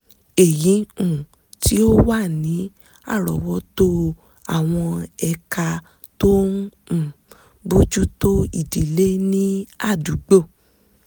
èyí um tí ó wà ní àrọ́ọ́wọ́tó àwọn ẹ̀ka tó ń um bójú tó ìdílé ní àdúgbò